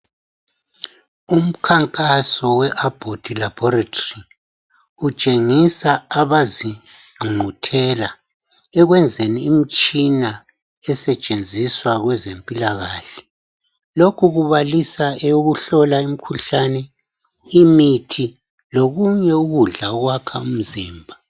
Umkhankaso weAbbott laboratory utshengisa abazingqungquthela ekwenzeni imtshina esetshenziswa kwezempilakahle lokhu kubalisa eyokuhlola imkhuhlane imithi lokunye ukudla okwakha umzimba.